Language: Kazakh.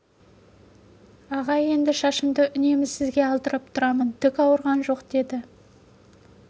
аға шашымды енді үнемі сізге алдырып тұрамын түк ауырған жоқ деді